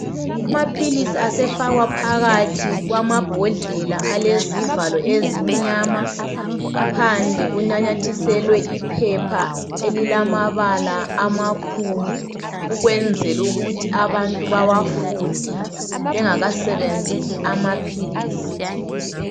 Amaphilisi asefakwa phakathi kwamabhodlela. Alezivalo ezimnyama. Phandle kunanyathiselwe iphepha, elilamabala amakhulu. Ukwenzela ukuthi abantu bawafunde. Bengakasebenzisi amaphilisi.